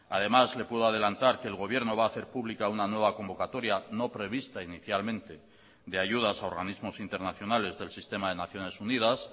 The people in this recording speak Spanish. además le puedo adelantar que el gobierno va a hacer pública una nueva convocatoria no prevista inicialmente de ayudas a organismos internacionales del sistema de naciones unidas